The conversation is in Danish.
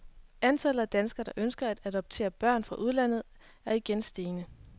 Antallet af danskere, der ønsker at adoptere børn fra udlandet, er igen stigende.